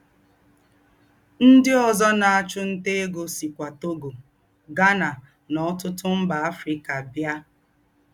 Ndí́ ózọ́ nà-àchụ́ ntá égó síkwà Togo, Ghana, nà ọ̀tútù mbà Áfríkà bíá